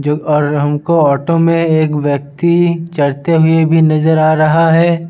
जो और हमको ऑटो में एक व्यक्ति चढ़ते हुए भी नजर आ रहा है।